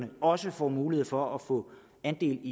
også får mulighed for at få andel